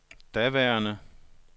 daværende